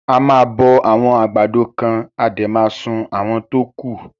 A máa bọ àwọn àgbàdo kan a dẹ̀ ma sun àwọn tókù.